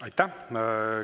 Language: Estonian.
Aitäh!